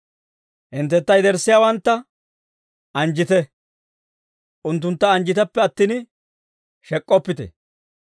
Hinttentta yederssiyaawantta anjjite; unttuntta anjjiteppe attin, shek'k'oppite.